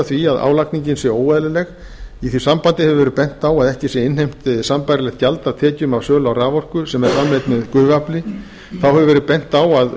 því að álagningin sé óeðlileg í því sambandi hefur verið bent á að ekki sé innheimt sambærilegt gjald af tekjum af sölu á raforku sem framleidd er með gufuafli einnig hefur verið bent á að